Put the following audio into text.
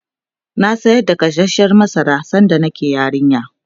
na sayar da gasashen masara sanda nake yarinya